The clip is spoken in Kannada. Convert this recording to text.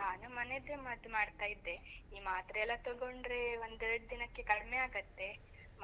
ನಾನು ಮನೆದ್ದೇ ಮದ್ದು ಮಾಡ್ತಾ ಇದ್ದೆ, ಈ ಮಾತ್ರೆ ಎಲ್ಲ ತೊಗೊಂಡ್ರೆ ಒಂದ್ ಎರ್ಡ್ ದಿನಕ್ಕೆ ಕಡ್ಮೆ ಆಗತ್ತೆ,